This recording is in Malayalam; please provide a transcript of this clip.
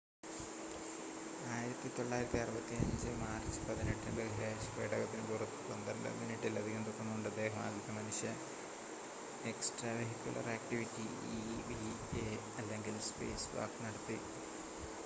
"1965 മാർച്ച് 18-ന് ബഹിരാകാശ പേടകത്തിന് പുറത്ത് 12 മിനിറ്റിലധികം തുടർന്നുകൊണ്ട് അദ്ദേഹം ആദ്യത്തെ മനുഷ്യ എക്സ്ട്രാവെഹിക്കുലർ ആക്റ്റിവിറ്റി ഇവി‌എ അല്ലെങ്കിൽ "സ്പേസ് വാക്ക്" നടത്തി.